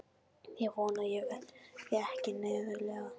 Ég vona að ég verði ekki neðarlega.